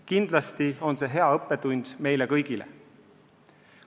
Kindlasti on see hea õppetund meile kõigile.